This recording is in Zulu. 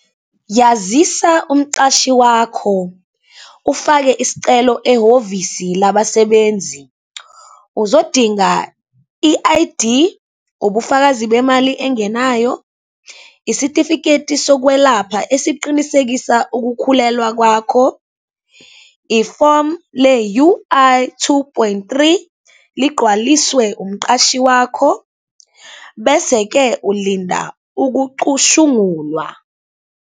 Yazisa umqashi wakho, ufake isicelo ehhovisi labasebenzi. Uzodinga i-I_D, ubufakazi bemali engenayo, isitifiketi sokwelapha esiqinisekisa ukukhulelwa kwakho, ifomu le-U_I two point three, ligqwaliswe umqashi wakho. Bese-ke ulinda ukucushungulwa.